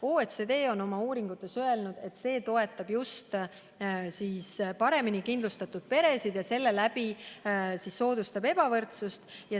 OECD on oma uuringutes öelnud, et selline tulumaksuvabastus toetab just paremini kindlustatud peresid ja selle läbi soodustab ebavõrdsust.